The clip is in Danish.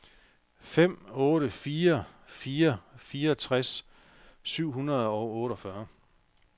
fem otte fire fire fireogtres syv hundrede og otteogfyrre